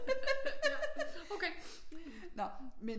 Nå men